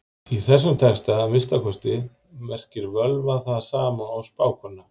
Í þessum texta, að minnsta kosti, merkir völva það sama og spákona.